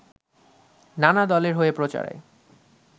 নানা দলের হয়েই প্রচারে